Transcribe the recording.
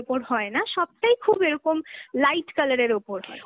ওপর হয় না, সবটাই খুব এরকম light colour এর ওপর হয়।